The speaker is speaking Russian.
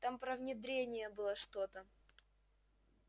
там про внедрение было что-то